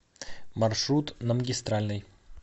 маршрут на магистральной